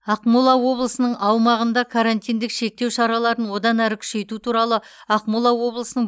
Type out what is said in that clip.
ақмола облысының аумағында карантиндік шектеу шараларын одан әрі күшейту туралы ақмола облысының